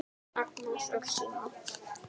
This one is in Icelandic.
Agnes og Símon.